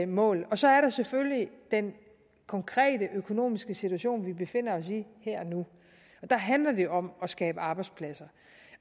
mål så er der selvfølgelig den konkrete økonomiske situation vi befinder os i her og nu der handler det jo om at skabe arbejdspladser